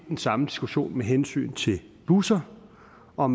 den samme diskussion med hensyn til busser og